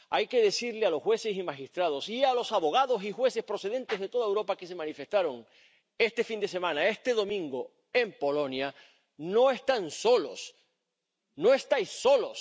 Hay que decirles a los jueces y magistrados y a los abogados y jueces procedentes de toda Europa que se manifestaron este fin de semana, este domingo, en Polonia No están solos, no estáis solos.